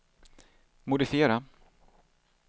modifiera